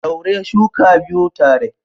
Daure shuka biyu tare.